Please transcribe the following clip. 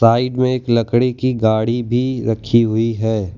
Side में एक लकड़ी की गाड़ी भी रखी हुई है।